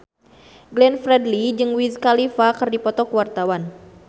Glenn Fredly jeung Wiz Khalifa keur dipoto ku wartawan